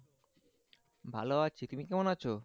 ভালো আছি তুমি কেমন আছো